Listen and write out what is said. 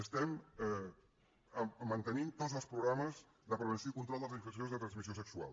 estem mantenint tots els programes de prevenció i control de les infeccions de transmissió sexual